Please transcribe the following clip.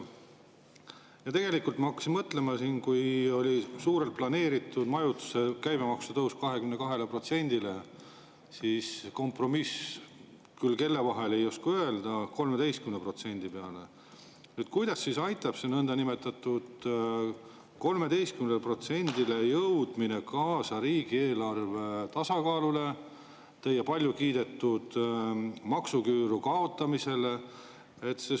Tegelikult ma hakkasin mõtlema, et kui oli suurelt planeeritud majutuse käibemaksu tõsta 22%‑le ja kompromissi – ei oska küll öelda, kelle vahel – 13%‑le, siis kuidas aitab see nõndanimetatud 13%‑le jõudmine kaasa riigieelarve tasakaalule, teie palju kiidetud maksuküüru kaotamisele?